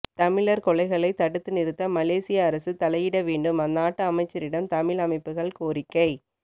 தமிழர் கொலைகளைத் தடுத்துநிறுத்த மலேசிய அரசு தலையிட வேண்டும் அந்நாட்டு அமைச்சரிடம் தமிழ் அமைப்புகள் கோரிக்கை